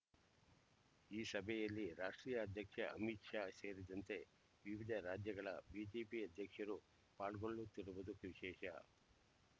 ಈ ಸಭೆಯಲ್ಲಿ ರಾಷ್ಟ್ರೀಯ ಅಧ್ಯಕ್ಷ ಅಮಿತ್ ಶಾ ಸೇರಿದಂತೆ ವಿವಿಧ ರಾಜ್ಯಗಳ ಬಿಜೆಪಿ ಅಧ್ಯಕ್ಷರು ಪಾಲ್ಗೊಳ್ಳುತ್ತಿರುವುದು ವಿಶೇಷ